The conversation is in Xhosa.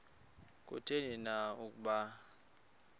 kutheni na ukuba